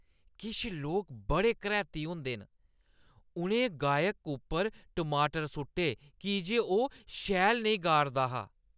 किश लोक बड़े करैह्‌ती होंदे न। उʼनें गायक उप्पर टमाटर सु'ट्टे की जे ओह् शैल नेईं गा 'रदा हा।